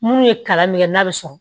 Munnu ye kalan min kɛ n'a bɛ sɔrɔ